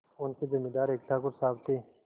उनके जमींदार एक ठाकुर साहब थे